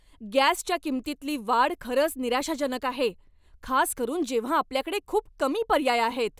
गॅसच्या किंमतीतली वाढ खरंच निराशाजनक आहे, खास करून जेव्हां आपल्याकडे खूप कमी पर्याय आहेत.